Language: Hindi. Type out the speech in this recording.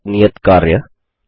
व्यापक नियत कार्य